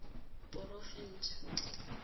porofense